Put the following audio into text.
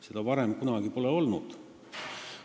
Seda pole varem kunagi olnud.